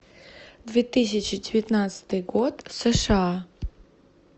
две тысячи девятнадцатый год сша